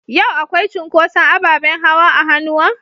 Yau akwai cunkoson abaɓen hawa a hanua?